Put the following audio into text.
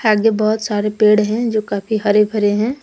आगे बहोत सारे पेड़ हैं जो काफी हरे भरे हैं।